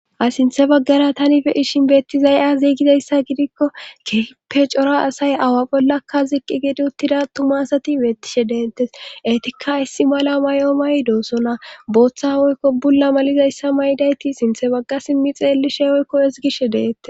a sinthe baggara tanife ishin beetti zay7a ziigizayssa gidikko kehippe cora asay awa bollakka ziqqi gidi uttida tumasati beettishe dentes eetikka issi mala mayo may doosona booththa woykko bulla malizayssa may7dayti sinthe bagga simmi xeellishe oykko isgishe deette